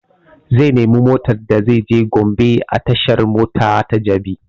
Zai nemi motan da zai je gombe a tashan mota ta jabi